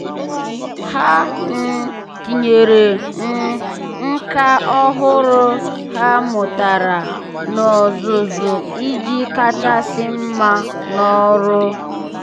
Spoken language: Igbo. há um tínyere um nkà ọ́hụ́rụ́ ha mụ́tàrà n’ọ́zụ́zụ́ iji kàchàsị́ mma n’ọ́rụ́.